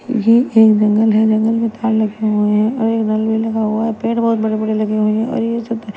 ये एक जंगल हैं जंगल में तार लगे हुए हैं और एक नल भीं लगा हुवा हैं पेड़ बहोत बड़े बड़े लगे हुए और ये --